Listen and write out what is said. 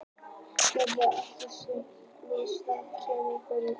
Gnitaheiði er ekki til sem örnefni á Íslandi en kemur fyrir í bókartitli.